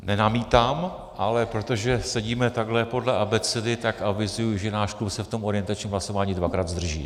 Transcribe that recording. Nenamítám, ale protože sedíme takhle podle abecedy, tak avizuji, že náš klub se v tom orientačním hlasování dvakrát zdrží.